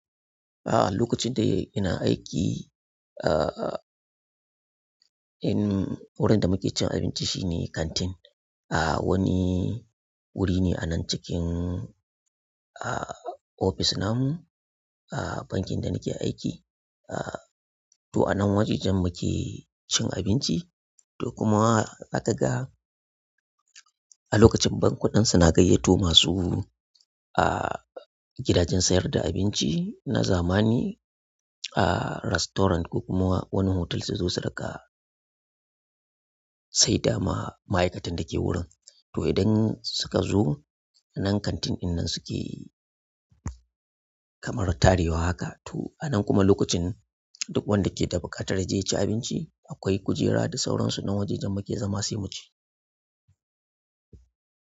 A'a, lokacin da ina aiki, ah, in wurin da muke cin abinci shine kantin. Ah, wani wuri ne a nan cikin, ah, ofis na mu, a bankin da nake aiki. Ah, to a nan wajajen muke cin abinci. To kuma zaka ga a lokacin bankuna ɗin suna gayyato masu, ah, gidajen sayar da abinci na zamani, ah, restaurant ko kuma wani otel su zo su riƙa saida ma ma'aikatan da ke wurin. To idan suka zo a nan kantin ɗinnan suke kamar tare wa haka. Toh a nan kuma lokacin duk wanda yake buƙatar yaje yaci abinci akwai kujera da, sauransu nan wajejen muke zama muci.